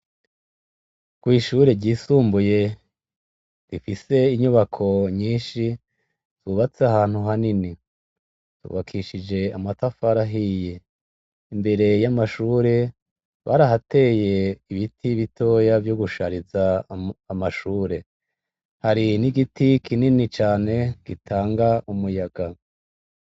Kw'Ishure ry'isumbuye, rifise inyubako nyinshi ryubatse ahantu hanini, ryubakishije amatafari ahiye. Imbere y'Amashure, barahateye ibiti bitoya, Vy'ugushariza Amashure. Hari n'igiti kinini cane, gitanga Umuyaga.